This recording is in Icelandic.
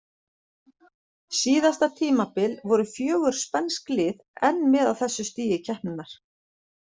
Síðasta tímabil voru fjögur spænsk lið enn með á þessu stigi keppninnar.